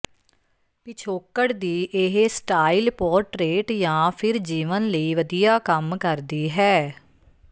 ਪਿਛੋਕੜ ਦੀ ਇਹ ਸਟਾਈਲ ਪੋਰਟਰੇਟ ਜਾਂ ਫਿਰ ਜੀਵਨ ਲਈ ਵਧੀਆ ਕੰਮ ਕਰਦੀ ਹੈ